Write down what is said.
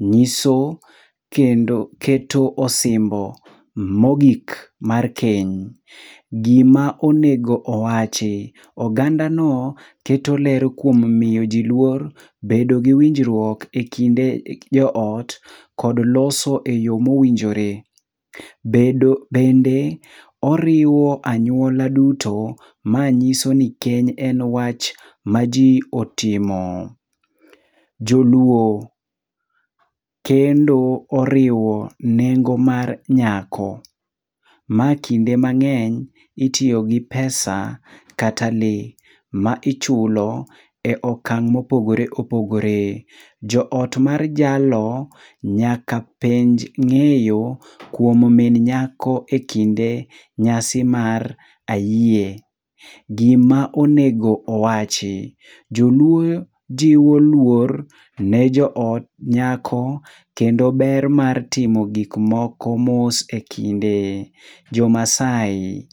nyiso kendo keto osimbo mogik mar keny. Gima onego owachi: oganda no keto ler kuom miyo ji luor, bedo gi winjruok e kinde jo ot, kod loso e yo mowinjore. Bende oriiwo anyuola duto, ma nyiso ni keny en wach ma ji otimo. Joluo: kendo oriwo nengo mar nyako. Ma kinde mang'eny itiyo gi pesa kata le, ma ichulo e okang' ma opogore opogore. Jo ot mar jalo nyaka penj ng'eyo kuom min nyako e kinde nyasi mar ayie. Gima onego owachi: joluo jiwo luor ne jo ot nyako kendo ber mar timo gik moko mos e kinde. Jo Masai: